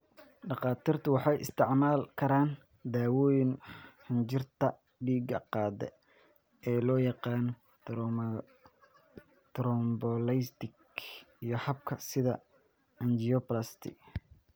Dhakhaatiirtu waxay isticmaali karaan dawooyinka xinjirta dhiigga qaada ee loo yaqaan thrombolytics iyo hababka, sida angioplasty.